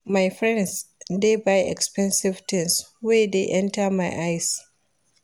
My friends dey buy expensive tins wey dey enta my eyes.